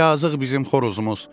Yazıq bizim xoruzumuz.